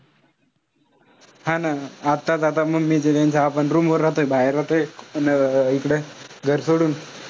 हा ना. आताच आता mummy च्या त्यांच्या आपण room वर राहतोय बाहेर. अन इकडे घर सोडून,